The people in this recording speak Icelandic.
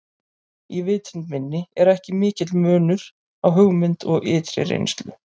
Í vitund minni er ekki mikill munur á hugmynd og ytri reynslu.